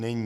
Není.